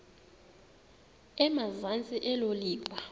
emazantsi elo liwa